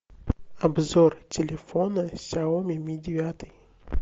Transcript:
обзор телефона сяоми ми девятый